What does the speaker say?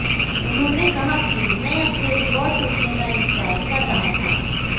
उन्होंने कहा कि मैं अपने रिकार्ड टूटने का इंतजार कर रहा था